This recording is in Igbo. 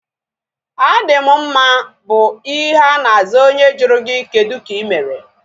A dị m mma bụ ihe ana aza onye jụrụ gị kedụ ka ịmere